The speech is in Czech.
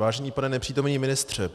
Vážený pane nepřítomný ministře,